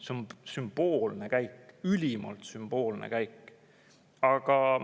See on sümboolne käik, ülimalt sümboolne käik!